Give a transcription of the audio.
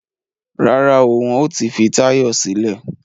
Rárá o, wọn ò tí fi Táyọ̀ sílẹ̀